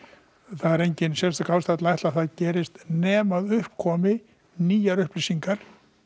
það er engin sérstök ástæða til að ætla það nema upp komi nýjar upplýsingar